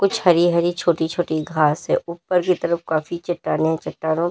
कुछ हरी हरी छोटी छोटी घास हैं ऊपर की तरफ काफी चट्टानें चट्टानों--